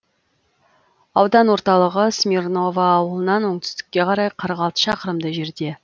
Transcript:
аудан орталығы смирново ауылынан оңтүстікке қарай қырық алты шақырымдай жерде